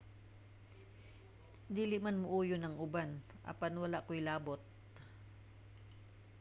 dili man mouyon ang uban apan wala koy labot